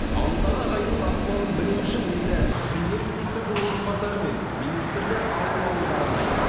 ауылдағы ағайынның ахуалын білу үшін енді премьер министрдің орынбасары мен министрлер ауыл ауылды аралайды